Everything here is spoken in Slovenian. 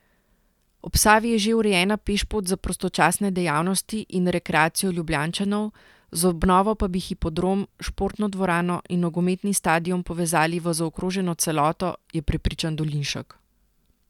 Ob Savi je že urejena pešpot za prostočasne dejavnosti in rekreacijo Ljubljančanov, z obnovo pa bi hipodrom, športno dvorano in nogometni stadion povezali v zaokroženo celoto, je prepričan Dolinšek.